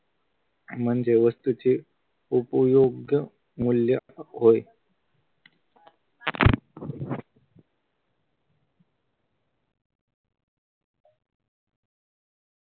म्हणजे वस्तूची उपयोग मूल्य होय